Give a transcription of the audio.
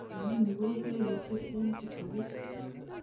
inoni ko lelutient en kipsigis